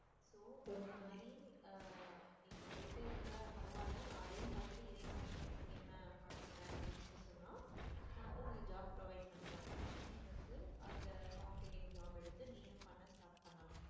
அந்த மாதிரி அஹ் நீ இப்ப போயிட்டே இருக்க, பரவால்ல நான் அதையும் பாத்துட்டு இதையும் combine பண்ணிப்பேன் பாத்துப்பேன் அப்படின்னு சொல்லி சொன்ன நான் வந்து உனக்கு job provide பண்றேன் நீ வந்து அந்த form filling job எடுத்து நீயும் பண்ண start பண்ணலாம்.